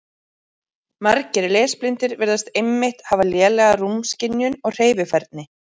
Margir lesblindir virðast einmitt hafa lélega rúmskynjun og hreyfifærni.